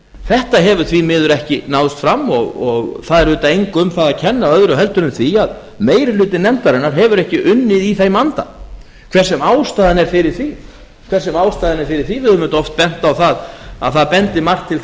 þetta hefur því miður ekki náðst fram og það er auðvitað engu um það að kenna öðru en því að meiri hluti nefndarinnar hefur ekki unnið í þeim anda hver sem ástæðan er fyrir því við höfum auðvitað oft bent á það að það bendi margt til